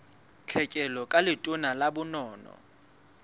tlhekelo ka letona la bonono